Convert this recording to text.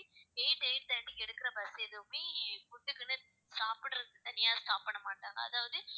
eight eight thirty க்கு எடுக்கிற bus எதுவுமே food க்குன்னு சாப்பிடுறது தனியா stop பண்ணமாட்டாங்க அதாவது